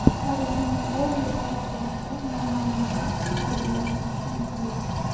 Parijning Orli aeroportida noma’lum shaxs harbiylarga hujum qildi.